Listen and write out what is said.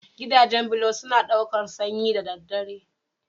Gidajen bulo suna ɗaukar sanyi da daddare.